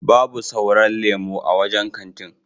Babu sauran lemo a wancan kantin.